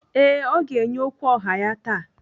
Ee, ọ ga-enye okwu ọha ya taa.